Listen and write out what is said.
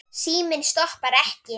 Síminn stoppar ekki.